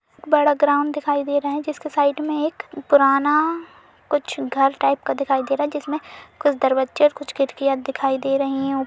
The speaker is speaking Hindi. बड़ा ग्राउंड दिखाई दे रहा है जिसके साइड में एक पुराना कुछ घर टाइप का दिखाई दे रहा है जिसमें कुछ दरवज्जे और कुछ खिरकियाँ दिखाई दे रहीं हैं। उ --